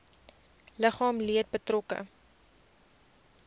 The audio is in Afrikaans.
liggaamlike leed betrokke